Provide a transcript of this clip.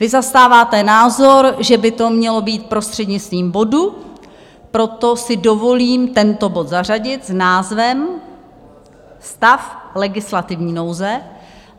Vy zastáváte názor, že by to mělo být prostřednictvím bodu, proto si dovolím tento bod zařadit s názvem Stav legislativní nouze.